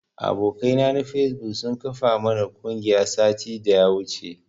Abokai na na fesbuk sun kafa mana ƙungiya satin daya wuce.